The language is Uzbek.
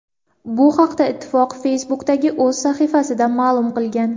Bu haqda ittifoq Facebook’dagi o‘z sahifasida ma’lum qilgan .